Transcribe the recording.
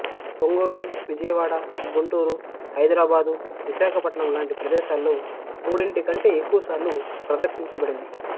ఒంగోలు విజయవాడ గుంటూరు హైదరాబాదు విశాఖపట్నం లాంటి ప్రదేశాల్లో మూడింటి కంటే ఎక్కువసార్లు ప్రదర్శించబడింది